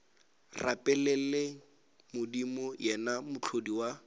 rapeleng modimo yena mohlodi wa